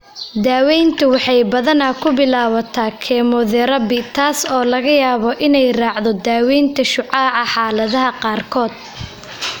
Daaweyntu waxay badanaa ku bilaabataa kemotherabi, taas oo laga yaabo inay raacdo daaweynta shucaaca xaaladaha qaarkood.